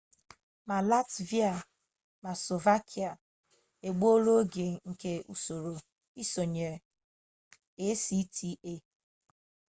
ma latvia ma slovakia egbuola oge nke usoro isonyere acta